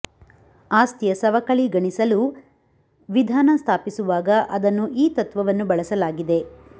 ಆಸ್ತಿಯ ಸವಕಳಿ ಗಣಿಸಲು ವಿಧಾನ ಸ್ಥಾಪಿಸುವಾಗ ಅದನ್ನು ಈ ತತ್ವವನ್ನು ಬಳಸಲಾಗಿದೆ